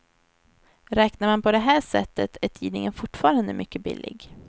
Räknar man på det här sättet är tidningen fortfarande mycket billig.